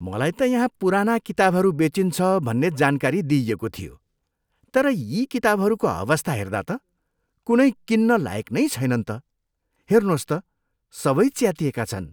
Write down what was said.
मलाई त यहाँ पुराना किताबहरू बेचिन्छ भन्ने जानकारी दिइएको थियो। तर यी किताबहरूको अवस्था हेर्दा त कुनै किन्न लायक नै छैनन् त! हेर्नुहोस् त, सबै च्यातिएका छन्।